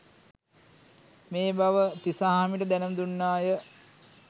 මේ බව තිසාහාමිට දැනුම් දුන්නාය